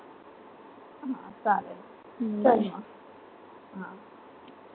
हा चालेल लिह मग